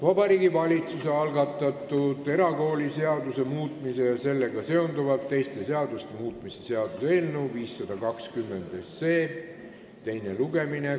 Vabariigi Valitsuse algatatud erakooliseaduse muutmise ja sellega seonduvalt teiste seaduste muutmise seaduse eelnõu 520 teine lugemine.